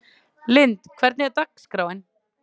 Lynd, hvernig er dagskráin?